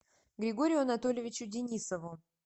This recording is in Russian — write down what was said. григорию анатольевичу денисову